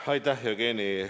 Aitäh, Jevgeni!